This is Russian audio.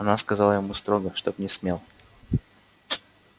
она сказала ему строго чтоб не смел